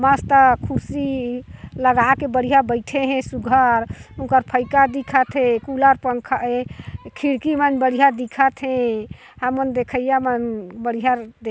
मस्ता कुर्सी लगा के बढ़िया बइठे हे सुघर उंखर फईका ह दिखत हे कुलर पंखा ए खिड़की मन बढ़िया दिखत हे हमन देखइया बढ़िया द--